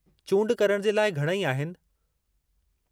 चूंड करण जे लाइ घणई आहिनि।